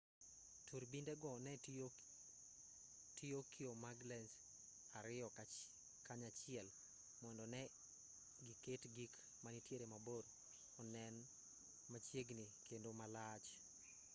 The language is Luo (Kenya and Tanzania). turbinde go ne tiyo kio mag lens ariyo kanyachiel mondo ne giket gik manitiere mabor onen machiegni kendo malach